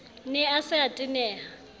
ne a se a tenehela